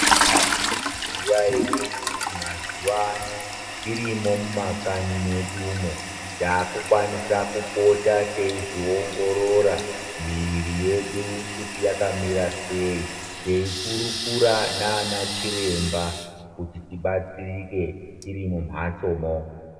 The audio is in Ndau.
Manga muchizviziva ere kuti mazuwa ano tirimo mumakanyi medumo takukwanisa kupota teizviongorora muiri yedu kuti yakamira sei teikurukura nana chiremba kuti tibatsirike tiri mumbatsomo.